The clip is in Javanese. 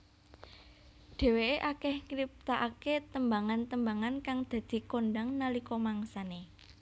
Dheweké akeh ngriptakaké tembangan tembangan kang dadi kondhang nalika mangsane